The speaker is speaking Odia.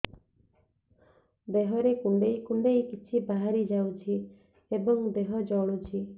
ଦେହରେ କୁଣ୍ଡେଇ କୁଣ୍ଡେଇ କିଛି ବାହାରି ଯାଉଛି ଏବଂ ଦେହ ଜଳୁଛି